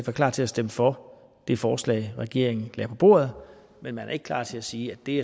er klar til at stemme for det forslag regeringen lagde på bordet men man er ikke klar til at sige at det